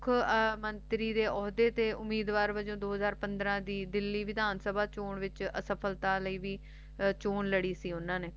ਮੁਖ ਮੰਤਰੀ ਦੇ ਓਹਦੇ ਦੇ ਉਮੀਦਵਾਰ ਵੱਲੋ ਦੋ ਹਾਜ਼ਰ ਪੰਦਰਾਂ ਦੇ ਵਿਚ ਦਿੱਲੀ ਸਿਭਅੰਤ ਸਭ ਚੋ ਸਫਲਤਾ ਲਈ ਦੀ ਚੂੰ ਲੜੀ ਸੀ ਉਨ੍ਹਾਂ ਨੇ